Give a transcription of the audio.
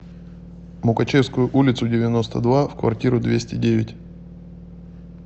мукачевскую улицу девяносто два в квартиру двести девять